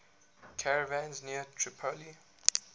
caravans near tripoli